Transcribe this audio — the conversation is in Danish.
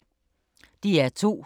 DR2